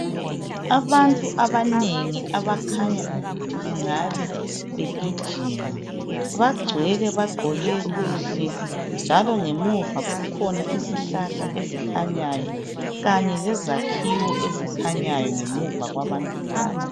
Abantu abanengi abakhanya ukuthi bengabe begijima bagcwele bagqoke kuhle njalo ngemuva kukhona izihlahla ezikhanyayo kanye lezakhiwo ngamuva kwabantu laba.